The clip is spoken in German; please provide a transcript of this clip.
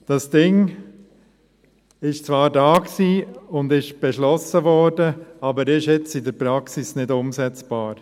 Das Ding war zwar da und wurde beschlossen, ist aber jetzt in der Praxis nicht umsetzbar.